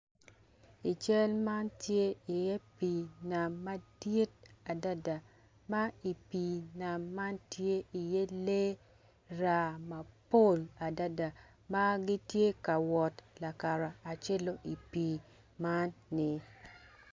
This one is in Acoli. I cal man tye iye pii nam madit adada ma i pii nam man tye iye lee raa mapol adada ma gitye ka wot lakaracelo i pii man ni.